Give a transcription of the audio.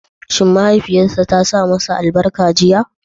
Shi mahaifiyarsa ta shi masa albarka a jiya?